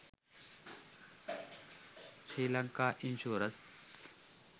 sri lanka insurance